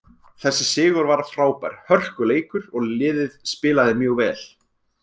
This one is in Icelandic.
Þessi sigur var frábær, hörkuleikur og liðið spilaði mjög vel.